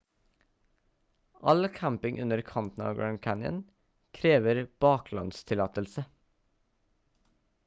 all camping under kanten av grand canyon krever baklandstillatelse